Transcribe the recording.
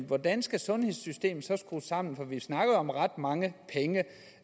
hvordan skal sundhedssystemet så skrues sammen for vi snakker om ret mange penge